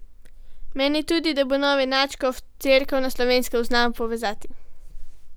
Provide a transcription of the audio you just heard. Meni tudi, da bo novi nadškof Cerkev na Slovenskem znal povezati.